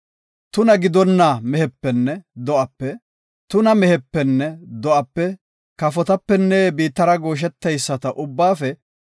Tuna gidonna mehepenne do7ape, tuna mehepenne do7ape kafotapenne biittara goosheteyisata ubbaafe